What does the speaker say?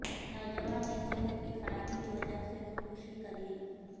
نوجوان نے صحت کی خرابی کی وجہ سے خودکشی کرلی